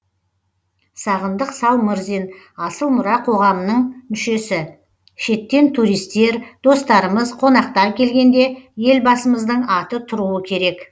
сағындық салмырзин асыл мұра қоғамының мүшесі шеттен туристер достарымыз қонақтар келгенде елбасымыздың аты тұруы керек